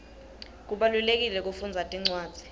kubalulekile kufundza tincwadzi